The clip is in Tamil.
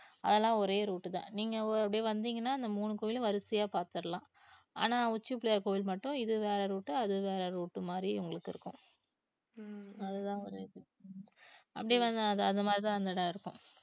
அதெல்லாம் ஒரே route தான் நீங்க ஓ~ அப்படியே வந்தீங்கன்னா அந்த மூணு கோயிலையும் வரிசையா பாத்தரலாம் ஆனா உச்சி பிள்ளையார் கோவில் மட்டும் இது வேற route அது வேற route மாதிரி உங்களுக்கு இருக்கும் அதுதான் ஒரு இது அப்படியே வந்த அது அந்த மாதிரிதான் அந்த இடம் இருக்கும்